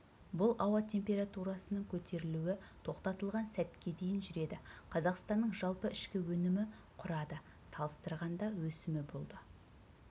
бұл ауа температурасының көтерілуі тоқтатылған сәтке дейін жүреді қазақстанның жалпы ішкі өнімі құрады салыстырғанда өсімі болды